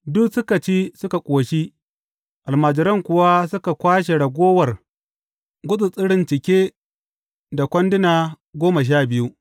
Duk suka ci suka ƙoshi, almajiran kuwa suka kwashe ragowar gutsattsarin cike da kwanduna goma sha biyu.